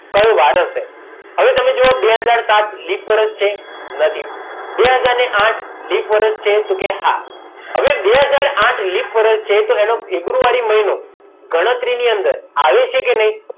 કયો વાર હશે હવે તમે જુઓ બે હાજર ને સાત લિપ વર્ષ છે નથી બે હાજર ને આઠ લિપ વર્ષ છે તો કે હા હવે બે હાજર ને આઠ લિપ વર્ષ છે તો એનો ફેબ્રુઆરી મહિનો ગણતરીની અંદર આવે છે કે નહીં